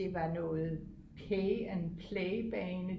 det var noget pay and play bane